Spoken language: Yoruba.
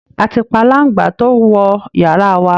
A ti pa aláǹgbá tó wọ yara wa